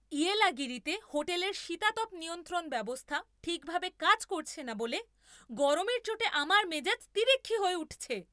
ইয়েলাগিরিতে হোটেলের শীতাতপ নিয়ন্ত্রণ ব্যবস্থা ঠিকভাবে কাজ করছে না বলে গরমের চোটে আমার মেজাজ তিরিক্ষি হয়ে উঠছে!